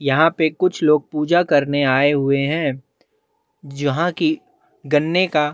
यहाँ पे कुछ लोग पूजा करने आए हुए है जहाँ की गन्ने का--